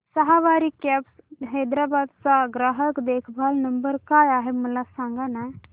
सवारी cabs Hyderabad चा ग्राहक देखभाल नंबर काय आहे मला सांगाना